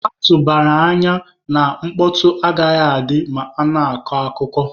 A tụbara anya na mkpọtọ agaghị adị ma a na-akọ akụkọ.